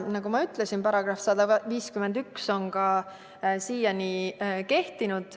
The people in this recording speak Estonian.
Nagu ma ütlesin, on § 151 siiani kehtinud.